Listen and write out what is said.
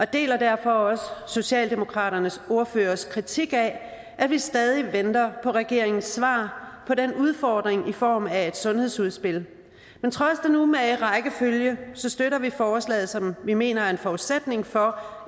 deler derfor også socialdemokratiets ordførers kritik af at vi stadig venter på regeringens svar på den udfordring i form af et sundhedsudspil men trods den umage rækkefølge støtter vi forslaget som vi mener er en forudsætning for